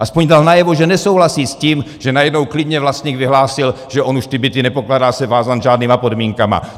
Aspoň dal najevo, že nesouhlasí s tím, že najednou klidně vlastník vyhlásil, že on už ty byty, nepokládá se vázán žádnými podmínkami.